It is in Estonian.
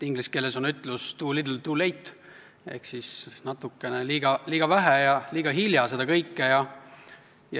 Inglise keeles on ütlus too little too late ehk seda kõike oli natukene liiga vähe ja liiga hilja.